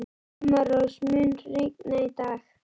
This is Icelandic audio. Sumarrós, mun rigna í dag?